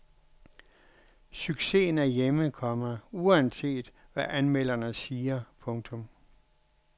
Succesen er hjemme, komma uanset hvad anmelderne siger. punktum